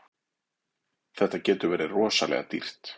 Þetta getur verið rosalega dýrt.